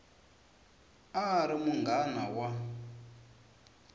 a a ri munghana wa